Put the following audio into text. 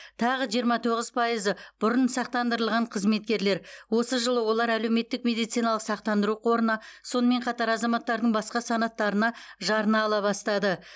тағы жиырма тоғыз пайызы бұрын сақтандырылған қызметкерлер осы жылы олар әлеуметтік медициналық сақтандыру қорына сонымен қатар азаматтардың басқа санаттарына жарна ала бастады